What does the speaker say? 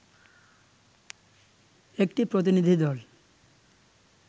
একটি প্রতিনিধিদল